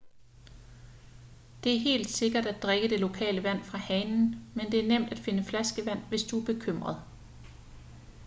det er helt sikkert at drikke det lokale vand fra hanen men det er nemt at finde flaskevand hvis du er bekymret